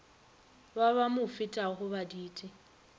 ba ba mo fetago baditi